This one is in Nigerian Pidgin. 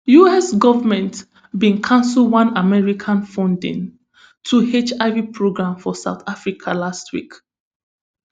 us goment bin cancel one american funding to hiv programs for south africa last week